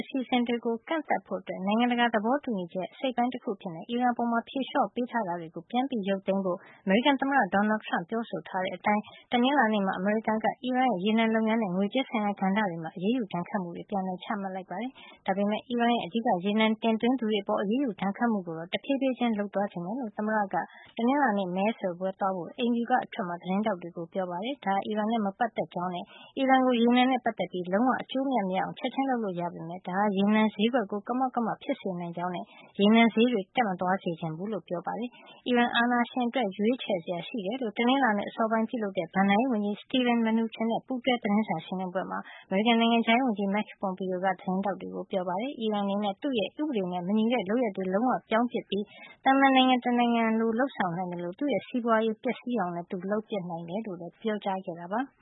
အစီအစဉ်တွေကို ကန့်သတ်ဖို့ နိုင်ငံတကာသဘောတူညီချက်ရဲ့ အစိတ်အပိုင်းတခု အဖြစ်နဲ့ အီရန်အပေါ် ဖြေလျှော့ပေးထားတာ တွေကို ပြန်ရုပ်သိမ်းဖို့ အမေရိကန်သမ္မတ Donald Trump က ပြောဆိုထားတဲ့ အတိုင်း တနင်္လာနေ့မှာ အမေရိကန်က အီရန်ရဲ့ ရေနံလုပ်ငန်းနဲ့ ငွေးကြေးဆိုင်ရာ ကဏ္ဍ တွေမှာ အရေးယူ ဒဏ်ခတ်မှုတွေ ပြန်လည် ချမှတ်လိုက်ပါတယ်။ ဒါပေမယ့် အီရန်ရဲ့ အဓိက ရေနံတင်သွင်းသူတွေ အပေါ် အရေးယူဒဏ်ခတ်မှုကိုတော့ တဖြေးဖြေးချင်း လုပ်သွားချင်ကြောင်း သမ္မတက တနင်္လာနေ့ မဲဆွယ်ပွဲသွားဖို့ သမ္မတအိမ်ဖြူက အထွက်မှာ သတင်းထောက်တွေကို ပြောပါတယ်။ ဒါဟာ အီရန်နဲ့ မပတ်သက်ကြောင်းနဲ့ အီရန်ကို ရေနံနဲ့ ပတ်သက်ပြီး လုံးဝအကျိုးအမြတ်မရအောင် ချက်ချင်းလုပ်လို့ ရပေမယ့် ဒါဟာ ရေနံဈေးကွက်ကို ကမောက်ကမ ဖြစ်စေနိုင်ကြောင်းနဲ့ ရေနံဈေးတွေ တက်မသွားစေချင်ဘူးလို့လည်း ပြောပါတယ်။ အီရန်အာဏာရှင်အတွက် ရွေးချယ်စရာ ရှိတယ်လို့ တနင်္လာနေ့ အစောပိုင်းမှာ ပြုလုပ်တဲ့ ဘဏ္ဍာရေးဝန်ကြီး Steven Mnuchin နဲ့ ပူးတွဲ သတင်းစာရှင်လင်းပွဲမှာ အမေရိကန် နိုင်ငံခြားရေးဝန်ကြီး Mike Pompeo က သတင်းထောက်တွေကို ပြောပါတယ်။ အီရန်အနေနဲ့ သူ့ရဲ့ ဥပဒေနဲ့ မညီတဲ့ လုပ်ရပ်တွေကို လုံးဝပြောင်းပြစ်ပြီး သာမန် နိုင်ငံတနိုင်ငံလို လုပ်ဆောင်နိုင်သလို သူ့ရဲ့ စီးပွါးရေး ပျက်စီးအောင်လည်း သူလုပ်နိုင်တယ်လို့ ပြောခဲ့တာပါ။